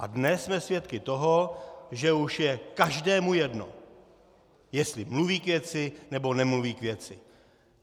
A dnes jsme svědky toho, že už je každému jedno, jestli mluví k věci, nebo nemluví k věci.